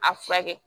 A furakɛ